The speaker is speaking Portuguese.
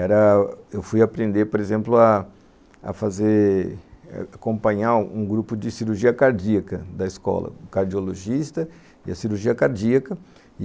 Era...Eu fui aprender, por exemplo, a fazer, acompanhar um grupo de cirurgia cardíaca da escola, o cardiologista e a cirurgia cardíaca.